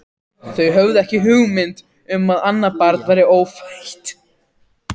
Þau höfðu ekki hugmynd um að annað barn væri ófætt.